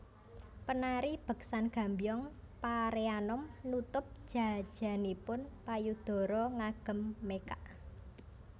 Penari beksan Gambyong Pareanom nutup jajanipun payudara ngagem mekak